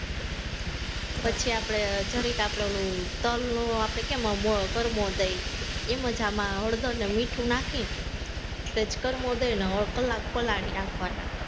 પછી આપણે જરીક આપણે ઓલું, તલનો આપણે કેમ કરમો દઈ, એમ જ આમ હળદર ને મીઠું નાખીન, સહેજ કર્મો દઈ ને કલાક પલાળી રાખવાના